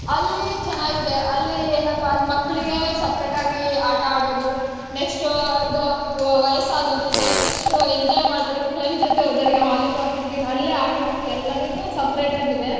ಅಲ್ಲಿ ಚೆನ್ನಾಗಿದೆ, ಅಲ್ಲಿ ಏನಪ್ಪಾ ಅಂದ್ರೆ ಮಕ್ಳಿಗೆ separate ಆಗಿ ಆಟ ಅಡೋದು, next ಆಹ್ ಇದ್ ಆಹ್ ವಯಸ್ಸಾದವ್ರಿಗೆ next enjoy ಮಾಡೋರಿಗೆ friends ಜೊತೆ ಇದ್ದವರಿಗೆ Volleyball, Cricket ಅಲ್ಲೇ ಆಡೋಕ್ ಎಲ್ಲದುನೂ separate ಆಗ್ ಇದೆ .